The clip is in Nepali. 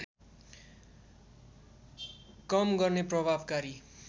कम गर्ने प्रभावकारी